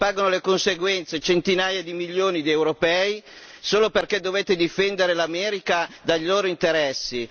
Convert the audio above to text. Ne pagano le conseguenze centinaia di milioni di europei, solo perché dovete difendere l'America dai loro interessi.